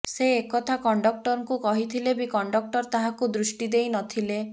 ସେ ଏକଥା କଣ୍ଡକ୍ଟରଙ୍କୁ କହିଥିଲେ ବି କଣ୍ଡକ୍ଟଟର ତାହାକୁ ଦୃଷ୍ଟି ଦେଇ ନଥିଲେ